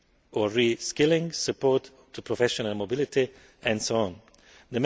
or reskilling, support to professional mobility and so on.